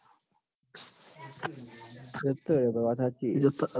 વાત હાચી